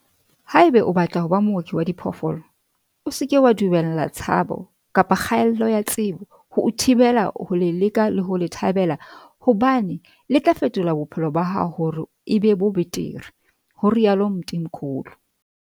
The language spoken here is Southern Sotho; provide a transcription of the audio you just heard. "Haeba o batla ho ba mooki wa diphoofolo, o se ke wa dumella tshabo kapa kgaello ya tsebo ho o thibela ho le leka le ho le thabela hobane le tla fetola bophelo ba hao hore e be bo betere," ho rialo Mthimkhulu.